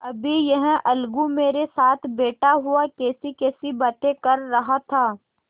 अभी यह अलगू मेरे साथ बैठा हुआ कैसीकैसी बातें कर रहा था